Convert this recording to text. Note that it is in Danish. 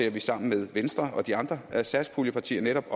at vi sammen med venstre og de andre satspuljepartier netop